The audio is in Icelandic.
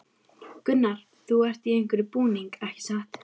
Gunnar: Þú ert í einhverjum búning, ekki satt?